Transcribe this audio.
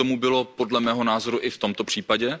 Tak tomu bylo podle mého názoru i v tomto případě.